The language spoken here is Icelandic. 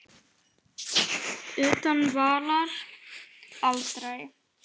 Utan vallar: Aldrei.